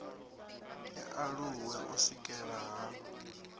i aluwe u swikelelea ha